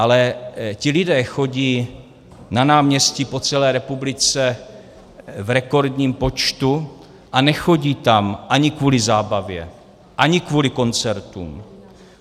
Ale ti lidé chodí na náměstí po celé republice v rekordním počtu a nechodí tam ani kvůli zábavě, ani kvůli koncertům.